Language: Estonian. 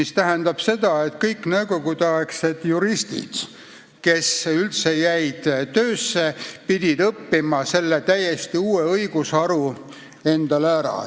See tähendab seda, et kõik nõukogudeaegsed juristid, kes tööle jäid, pidid selle täiesti uue õigusharu ära õppima.